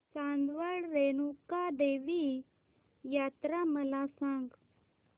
चांदवड रेणुका देवी यात्रा मला सांग